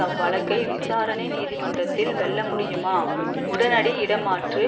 அவ்வழக்கை விசாரணை நீதிமன்றத்தில் வெல்ல முடியுமா உடனடி இடைமாற்று